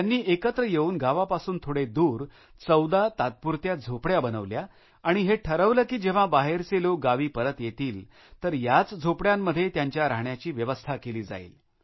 त्यांनी एकत्र येऊन गावापासून थोडे दूर 14 तात्पुरत्या झोपड्या बनवल्या आणि हे ठरवलं की जेव्हा बाहेरचे लोक गावी परत येतील तर याच झोपड्यांमध्ये त्यांच्या राहण्याची व्यवस्था केली जाईल